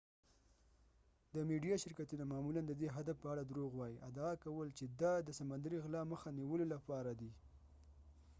د میډیا شرکتونه معمولا د دې هدف په اړه دروغ وایی ادعا کول چې دا د د سمندري غلا مخه نیولو لپاره دی